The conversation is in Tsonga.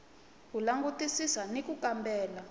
ku langutisisa na ku kambela